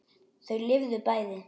Þau lifðu bæði.